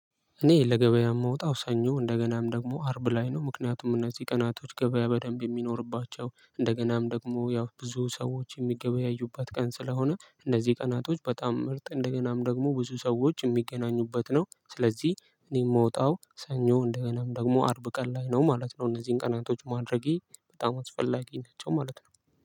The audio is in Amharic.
እኔ ለገበያ የምወጣው ሰኞ እንደገናም ደግሞ አርብ ላይ ነው ምክንያቱም እነዚህ ቀናቶች ገበያ በደንብ የሚኖርባቸው እንደገናም ደግሞ ያው ብዙ ሰዎች የሚገበያዩበት ቀን ስለሆነ እነዚህ ቀናቶች በጣም ምርጥ እንደገናም ደግሞ ብዙ ሰዎች የሚገናኙበት ነው። ስለዚህ እኔ የምወጣው ሰኞ እንደገናም ደግሞ አርብ ቀን ላይ ነው ማለት ነው። እነዚህን ቀናቶች ማድረጌ በጣም አስፈላጊ ናቸው ማለት ነው።